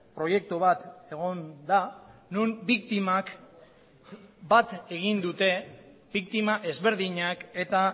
proiektu bat egon da non biktimak bat egin dute biktima ezberdinak eta